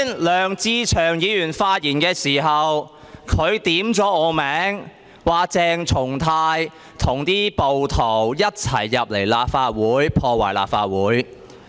梁志祥議員剛才發言時，點名指我和暴徒一同進入立法會進行破壞。